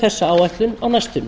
þessa áætlun á næstunni